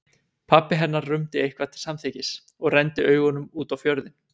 Pabbi hennar rumdi eitthvað til samþykkis og renndi augunum út á fjörðinn.